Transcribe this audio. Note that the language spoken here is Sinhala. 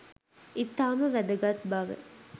ඉතාම වැදගත් බව